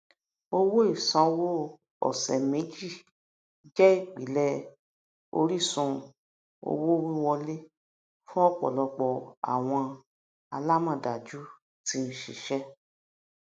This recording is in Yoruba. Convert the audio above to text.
owó ìsanwóọsẹméjì jẹ ìpìlẹ orísun owówíwọlé fún ọpọlọpọ àwọn alámọdájú tí ń ṣiṣẹ